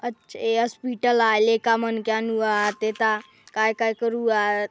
अच् ए अस्पिटल आय लईका मन के अनुवात ए ता काय-काय करुवात।